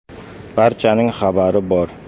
Barchaning xabari bor.